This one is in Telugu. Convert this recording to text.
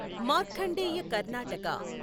మార్ఖండేయ కర్ణాటక